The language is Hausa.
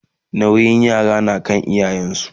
nauyin yara na kan iyayen su